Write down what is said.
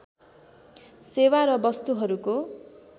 सेवा र वस्तुहरूको